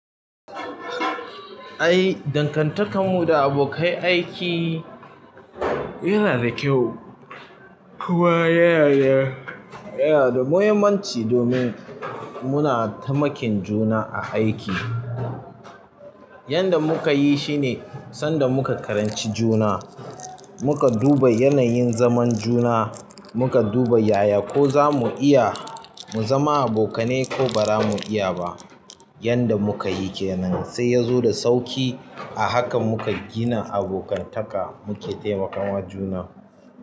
Ai, dangantakar mu da abokai aiki yana da kyau kuma yana da, yana da muhimmanci domin muna taimakin juna a aiki. Yanda muka yi shine sanda muka karanci juna, muka duba yanayin zaman juna, muka duba yaya ko za mu iya mu zama abokanai ko ba za mu iya ba. Yanda muka yi kenan, sai ya zo da sauƙi a haka muka gina abokantaka muke taimakawa juna.